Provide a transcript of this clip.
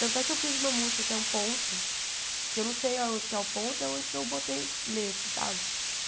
Tanto é que eu fiz uma música que é um ponto, que eu não sei aonde que é o ponto e onde que eu botei letra, sabe?